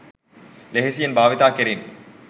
ලෙහෙසියෙන් භාවිතා කෙරිණි.